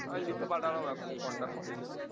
আমি লিখে পাঠালাম এখনো contact করেনি